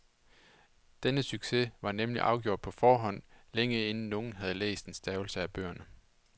Denne succes var nemlig afgjort på forhånd, længe inden nogen havde læst en stavelse af bøgerne.